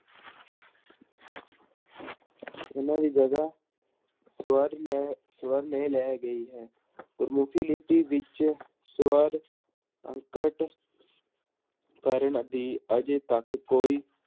ਇਹਨਾਂਂ ਦੀ ਜਗ੍ਹਾ ਸਵਰ ਲੈ ਸਵਰ ਨੇ ਲੈ ਗਈ ਹੈ ਗੁਰਮੁਖੀ ਲਿਪੀ ਵਿੱਚ ਸਵਰ ਅੰਕਟ ਕਰਨ ਦੀ ਅਜੇ ਤੱਕ ਕੋਈ